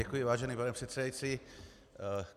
Děkuji, vážený pane předsedající.